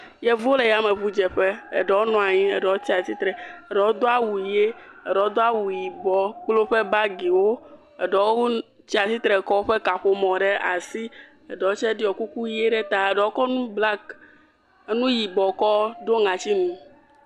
Yevuwo le yameŋudzeƒe, eɖewo nɔ anyi eɖewo tsi atsitre, eɖewo do awu ʋi eɖewo do awu yibɔ kple woƒe bagiwo, eɖewo tsi atsitre kɔ woƒe kaƒomɔ ɖe asi eɖewo tse woɖiɔ kuku eɖewoe tse wokɔ ene black enu yibɔ kɔ ɖo woƒe ŋɔti nu.